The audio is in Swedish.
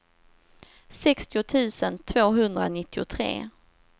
sextio tusen tvåhundranittiotre